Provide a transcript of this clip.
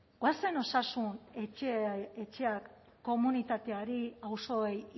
goazen osasun etxeak komunitateari auzoei